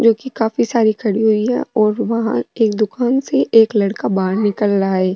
जो की काफी सारी खड़ी हुई है और वहा की दुकान से एक लड़का बाहर निकल रहा है।